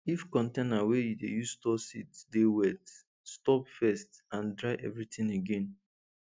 if the container wey you dey store seeds dey wet stop first and dry everything again